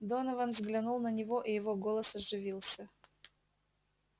донован взглянул на него и его голос оживился